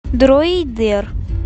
дроидер